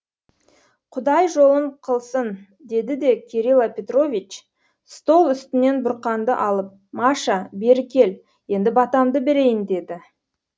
құдай жолын қылсын деді де кирила петрович стол үстінен бұрқанды алып маша бері кел енді батамды берейін деді